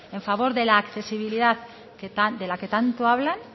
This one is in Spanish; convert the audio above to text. en favor de la accesibilidad de la que tanto hablan